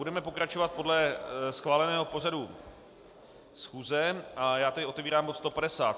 Budeme pokračovat podle schváleného pořadu schůze a já tedy otevírám bod